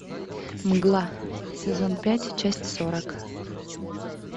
мгла сезон пять часть сорок